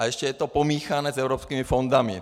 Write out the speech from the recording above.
A ještě je to pomíchané s evropskými fondy.